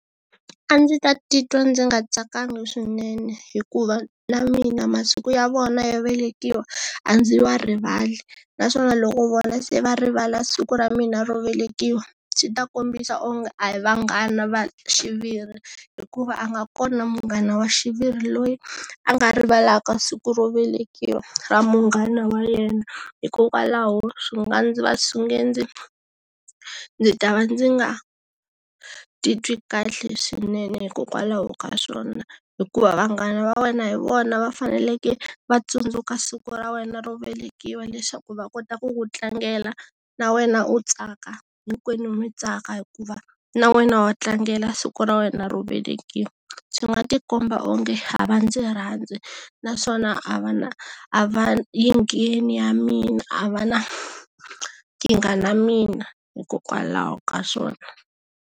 A ndzi ta titwa ndzi nga tsakanga swinene hikuva na mina masiku ya vona yo velekiwa a ndzi wa rivali naswona loko vona se va rivala siku ra mina ro velekiwa byi ta kombisa onge a hi vanghana va xiviri hikuva a nga kona munghana wa xiviri loyi a nga rivalaka siku ro velekiwa ra munghana wa yena hikokwalaho swi nga ndzi va ndzi ta va ndzi nga titwi kahle swinene hikokwalaho ka swona hikuva vanghana va wena hi vona va faneleke va tsundzuka siku ra wena ro velekiwa leswaku va kota ku ku tlangela na wena u tsaka hinkwenu mi tsaka hikuva na wena wa tlangela siku ra wena ro velekiwa swi nga ti komba onge a va ndzi rhandza naswona a va na a va yi ngheni ya mina a va na nkingha na mina hikokwalaho ka swona.